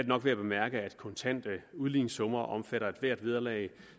nok værd at bemærke at kontante udligningssummer omfatter ethvert vederlag